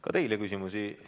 Ka teile küsimusi ...